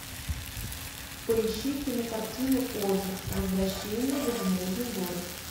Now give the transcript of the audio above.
поищи кинокартину оз возвращение в изумрудный город